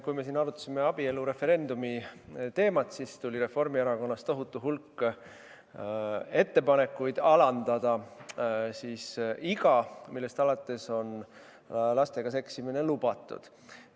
Kui me siin arutasime abielureferendumi teemat, siis tuli Reformierakonnast tohutu hulk ettepanekuid alandada iga, millest alates on lastega seksimine lubatud.